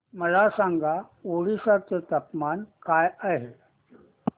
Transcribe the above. मला सांगा ओडिशा चे तापमान काय आहे